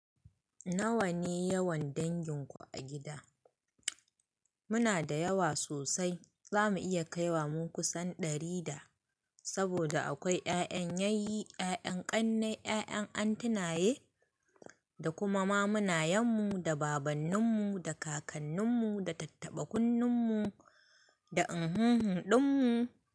Nawa ne yawan dangin ku a gida? Muna da yawa sosai. Za mu iya kai wa mu kusan ɗari da. Saboda akwai ƴaƴan yayyi, ƴaƴan ƙannai, ƴaƴan antinaye, da kuma mamunan mu da babannin mu da kakannin mu da tattaba kunnun mu da inhunhun ɗin mu.